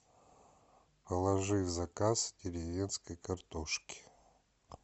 положи в заказ деревенской картошки